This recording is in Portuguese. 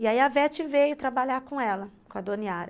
E aí a Vete veio trabalhar com ela, com a Dona Yara.